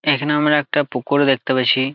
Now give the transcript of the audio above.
এইখানে আমরা একটা পুকুর দেখতে পারছি।